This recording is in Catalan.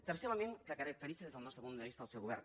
tercer element que caracteritza des del nostre punt vista el seu govern